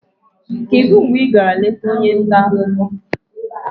kedu mgbe ị gara leta onye nta akụkọ?